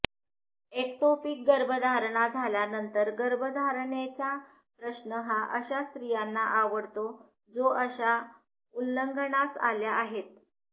ectopic गर्भधारणा झाल्यानंतर गर्भधारणेचा प्रश्न हा अशा स्त्रियांना आवडतो जो अशा उल्लंघनास आल्या आहेत